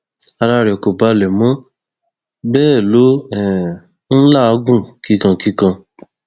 ara rẹ kò balẹ mọ bẹẹ ló um ń làágùn kíkankíkan